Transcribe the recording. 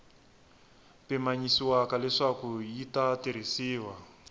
pimanyisiwaka leswaku yi ta tirhisiwa